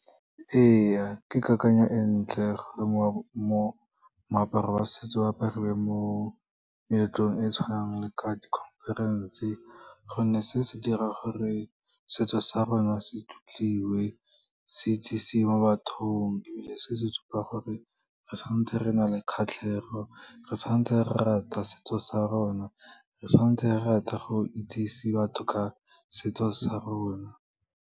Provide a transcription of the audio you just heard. Ee, ke kakanyo e ntle gore moaparo wa setso o apariwe mo meletlong e tshwanang le ka di-conference-e, gonne se dira gore setso sa rona se tlotliwe, se itsise mo bathong ebile se se supa gore re santse re na le kgatlhego, re santse re rata setso sa rona, re santse re rata go itsise batho ka setso sa rona.